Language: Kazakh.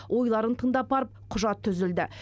ойларын тыңдап барып құжат түзілді